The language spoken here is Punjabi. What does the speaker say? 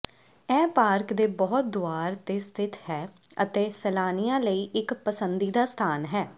ਇਹ ਪਾਰਕ ਦੇ ਬਹੁਤ ਦੁਆਰ ਤੇ ਸਥਿਤ ਹੈ ਅਤੇ ਸੈਲਾਨੀਆਂ ਲਈ ਇੱਕ ਪਸੰਦੀਦਾ ਸਥਾਨ ਹੈ